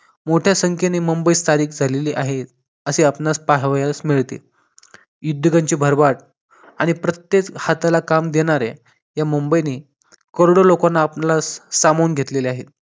मोठ्या संख्येने मुंबईत स्थायीक झालेले आहेत असे आपणास पाहावयास मिळते. उद्योगांची भरभराट आणि प्रत्येक हाताला काम देणाऱ्या या मुंबईने करोडो लोकांना आपल्यास सामावून घेतले आहे.